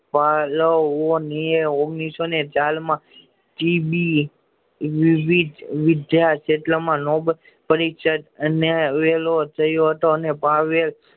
ઓગણીસો ની સાલ માં બી જી વિદ્યા પરિષક અને વેલો થયો હતો